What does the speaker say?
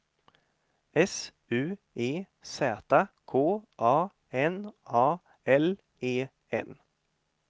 S U E Z K A N A L E N